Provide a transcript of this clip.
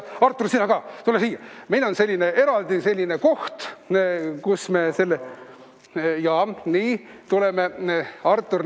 Artur, sina ka, tule siia!